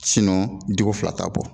diko fila t'a bɔ